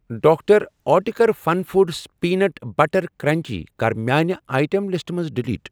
Doctor اٹکر Fun Foods peanut butter crunchy کَر میانہِ آیٹم لسٹہٕ منٛز ڈیلیٖٹ۔